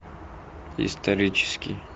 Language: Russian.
исторический